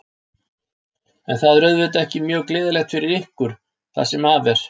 En það er auðvitað ekki mjög gleðilegt fyrir ykkur, það sem af er.